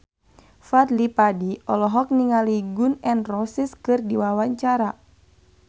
Fadly Padi olohok ningali Gun N Roses keur diwawancara